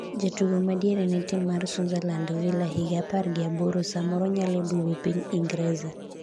Jatugo madiere ne tim mar sunserland Vila, higa apar gi aboro ,samoro nyalo duogo piny Ingreza